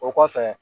O kɔfɛ